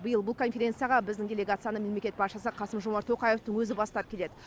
биыл бұл конференцияға біздің делегацияны мемлекет басшысы қасым жомарт тоқаевтың өзі бастап келеді